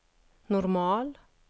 normal